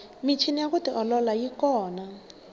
michini ya ku tiolola yi kona